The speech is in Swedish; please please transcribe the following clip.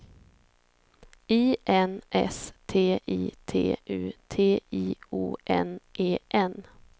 I N S T I T U T I O N E N